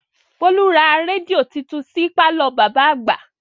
Bólú ra rédíò titun sí pàlọ́ bàbá àgbà